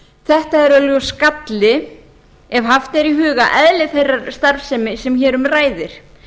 þetta er augljós galli ef haft er í huga eðli þeirrar starfsemi sem hér um ræðir